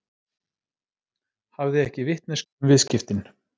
Hafði ekki vitneskju um viðskiptin